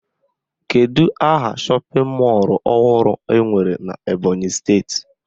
Kedụ aha shọpịn mọlụ ọhụrụ enwere n'Ebọnyị steeti?